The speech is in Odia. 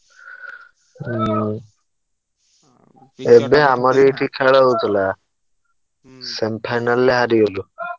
ହୁଁ ଏବେ ଆମର ଏଠି ଖେଳ ହଉଥିଲା। semi final ରେ ହାରିଗଲୁ। ।